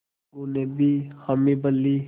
अलगू ने भी हामी भर ली